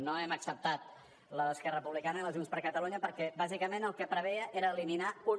no hem acceptat la d’esquerra republicana i la de junts per catalunya perquè bàsicament el que preveia era eliminar un